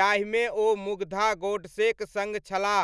जाहिमे ओ मुग्धा गोडसेक सङ्ग छलाह।